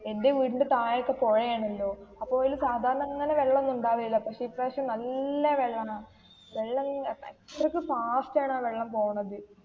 എന്റെ വീടിന്റെ താഴെയൊക്കെ പുയാണല്ലോ അപ്പോ അതില് സാധാരണ അങ്ങനെ വെള്ളമൊന്നും ഉണ്ടാകേല. പക്ഷെ ഈ പ്രാവിശ്യം നല്ല വെള്ളാണ്. വെള്ളമിങ്ങനെ അത്രക്ക് fast ണ് ആ വെള്ളം പോകുന്നെത്.